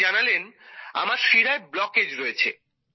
তিনি জানালেন আমার শিরায় ব্লকেজ রয়েছে